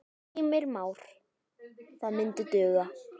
Heimir Már: Það myndi duga?